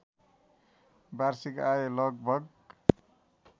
वार्षिक आय लगभग